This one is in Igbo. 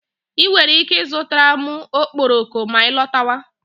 I nwere ike ịzụtara m okporoko ma ị lọtawa.